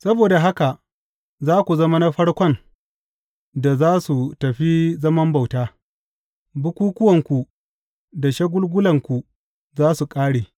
Saboda haka za ku zama na farkon da za su tafi zaman bauta; bukukkuwanku da shagulgulanku za su ƙare.